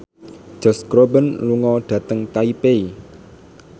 Josh Groban lunga dhateng Taipei